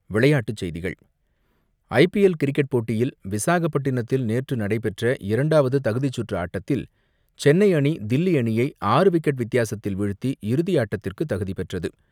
விளையாட்டுச்செய்திகள் IPL cricket போட்டியில் விசாகப்பட்டினத்தில் நேற்று நடைபெற்ற இரண்டாவது தகுதிச்சுற்று ஆட்டத்தில் சென்னை அணி, தில்லி அணியை ஆறு விக்கெட் வித்தியாசத்தில் வீழ்த்தி இறுதியாட்டத்திற்கு தகுதி பெற்றது.